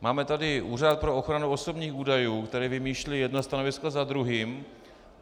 Máme tady Úřad pro ochranu osobních údajů, který vymýšlí jedno stanovisko za druhým.